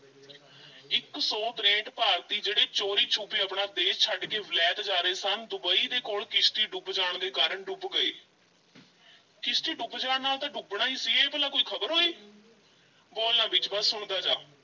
ਇੱਕ ਸੌ ਤਰੇਠ ਭਾਰਤੀ ਜਿਹੜੇ ਚੋਰੀ-ਛੁਪੇ ਆਪਣਾ ਦੇਸ ਛੱਡ ਕੇ ਵਲਾਇਤ ਜਾ ਰਹੇ ਸਨ ਡੁਬਈ ਦੇ ਕੋਲ ਕਿਸ਼ਤੀ ਡੁੱਬ ਜਾਣ ਦੇ ਕਾਰਨ ਡੁੱਬ ਗਏ ਕਿਸ਼ਤੀ ਡੁੱਬ ਜਾਣ ਨਾਲ ਤਾਂ ਡੁੱਬਣਾ ਈ ਸੀ, ਇਹ ਭਲਾ ਕੋਈ ਖ਼ਬਰ ਹੋਈ ਬੋਲ ਨਾ ਵਿੱਚ ਬੱਸ ਸੁਣਦਾ ਜਾ।